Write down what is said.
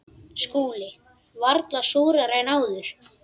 SKÚLI: Varla súrari en áður.